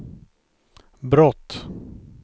brott